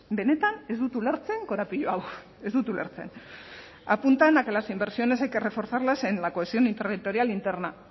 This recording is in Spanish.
benetan ez dut ulertzen korapilo hau ez dut ulertzen apuntan a que las inversiones hay que reforzarlas en la cohesión territorial interna